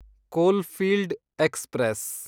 coalfield express